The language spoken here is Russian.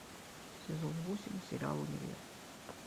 сезон восемь сериал универ